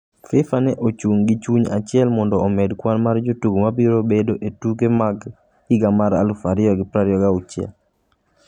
Fifa ne ochung’ gi chuny achiel mondo omed kwan mar jotugo ma biro bedo e tuke mag higa mar 2026.